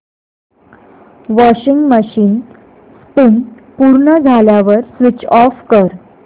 washing machine spin पूर्ण झाल्यावर switch off कर